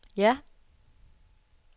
ja